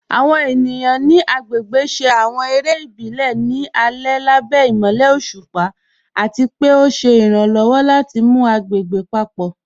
Àwọn ènìyàn ni agbégbè ṣé àwọn èrè ìbílẹ̀ ní alẹ̀ lábẹ̀ imọ̀lẹ̀ ọ̀ṣupa, àti pẹ̀ o ṣé iràǹlọ́wọ̀ láti mú agbégbè papọ.